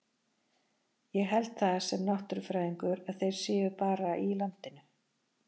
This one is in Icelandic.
Ég held það, sem náttúrufræðingur, að þeir séu bara í landinu.